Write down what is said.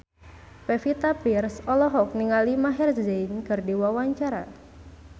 Pevita Pearce olohok ningali Maher Zein keur diwawancara